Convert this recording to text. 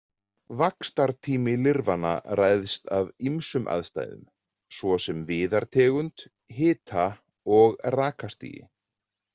Vaxtartími lirfanna ræðst af ýmsum aðstæðum, svo sem viðartegund, hita- og rakastigi.